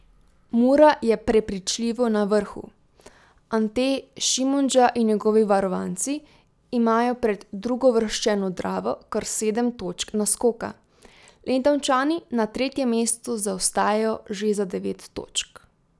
Mura je prepričljivo na vrhu, Ante Šimundža in njegovi varovanci imajo pred drugouvrščeno Dravo kar sedem točk naskoka, Lendavčani na tretjem mestu zaostajajo že za devet točk.